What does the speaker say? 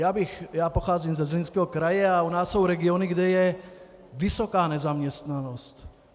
Já pocházím ze Zlínského kraje a u nás jsou regiony, kde je vysoká nezaměstnanost.